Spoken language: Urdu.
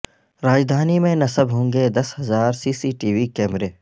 راجدھانی میں نصب ہونگے دس ہزار سی سی ٹی وی کیمرے